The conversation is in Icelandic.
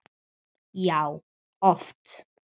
Já, oft!